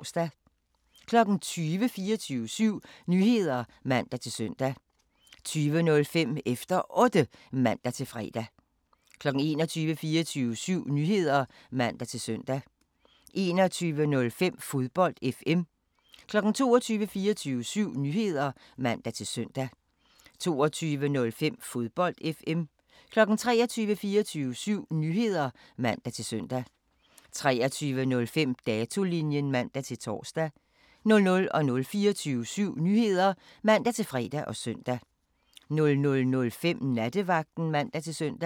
20:00: 24syv Nyheder (man-søn) 20:05: Efter Otte (man-fre) 21:00: 24syv Nyheder (man-søn) 21:05: Fodbold FM 22:00: 24syv Nyheder (man-søn) 22:05: Fodbold FM 23:00: 24syv Nyheder (man-søn) 23:05: Datolinjen (man-tor) 00:00: 24syv Nyheder (man-fre og søn) 00:05: Nattevagten (man-søn)